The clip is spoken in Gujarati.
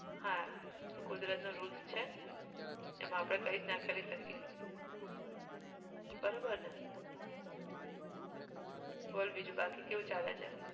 હા એ કુદરત નો rules છે, એમાં આપણે કઈ જ ના કરી શકીએ, બરોબર ને? બોલ બીજું બાકી કેવું ચાલે છે?